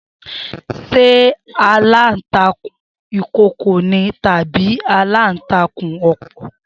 Se alantakun Ikooko ni tabi alantakun opo?